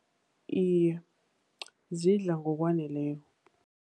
Iye, zidla ngokwaneleko.